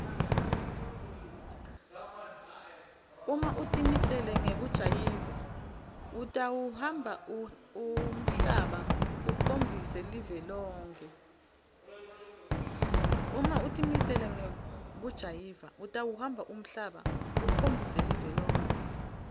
uma utimisele ngekujayiva utawuhamba umhlaba ukhombise live lonkhe